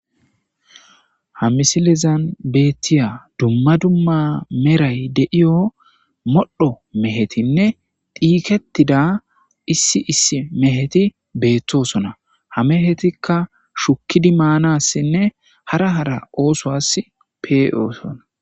Ha misilezan beettiya dumma dumma meray deiyo modho mehetinne diikettida issi issi meheti beettosona ha mehetikka shukidi maanassinne hara hara ooso as pee,oosona.